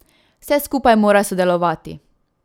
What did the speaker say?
Vse skupaj mora sodelovati.